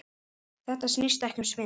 Þetta snýst ekki um svindl.